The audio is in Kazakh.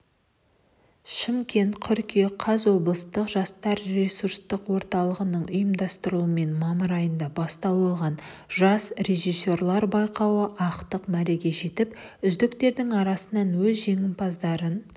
шымкент қыркүйек қаз облыстық жастар ресурстық орталығының ұйымдастыруымен мамыр айында бастау алған жас режиссерлар байқауы ақтық мәреге жетіп үздіктердің арасынанөз жеңімпаздарын